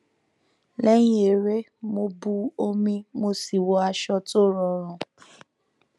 lẹyìn eré mo bu omi mo sì wọ aṣọ tó rọrùn